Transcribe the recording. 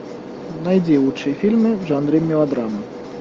найди лучшие фильмы в жанре мелодрама